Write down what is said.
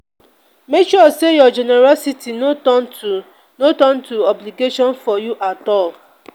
make sure your generosity no turn to no turn to obligation for you at all.